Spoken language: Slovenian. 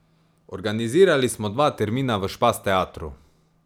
Organizirali smo dva termina v Špas Teatru.